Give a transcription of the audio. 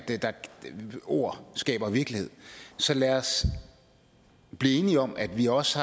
ord skaber virkelighed så lad os blive enige om at vi også